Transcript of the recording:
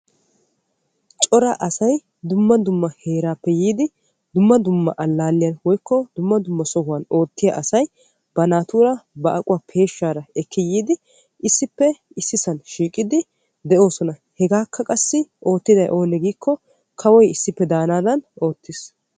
cora asay dumma dumma heeraappe yiidi dumma dumma allaalliya woyikko dumma dumma sohuwan oottiya asay ba naatuura ba aquwaa peeshshaara ekki yiidi issippe issisan shiiqidi de'oosona. hegaakka qassi oottiday oonee giikko kawoy issippe daanaadan oottis.